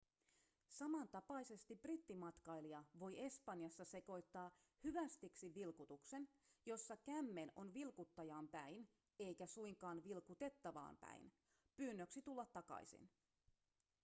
samantapaisesti brittimatkailija voi espanjassa sekoittaa hyvästiksi vilkutuksen jossa kämmen on ‎vilkuttajaan päin eikä suinkaan vilkutettavaan päin pyynnöksi tulla takaisin.‎